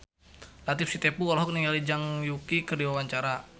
Latief Sitepu olohok ningali Zhang Yuqi keur diwawancara